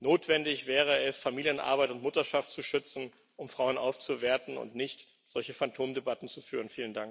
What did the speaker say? Notwendig wäre es, Familienarbeit und Mutterschaft zu schützen, um Frauen aufzuwerten, und nicht solche Phantomdebatten zu führen.